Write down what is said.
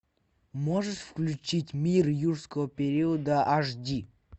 можешь включить мир юрского периода аш ди